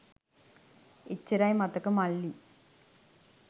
එච්චරයි මතක මල්ලි